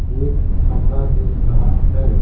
एक कमरा दिख रहा है ।